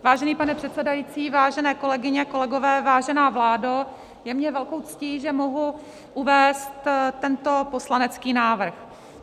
Vážený pane předsedající, vážené kolegyně, kolegové, vážená vládo, je mi velkou ctí, že mohu uvést tento poslanecký návrh.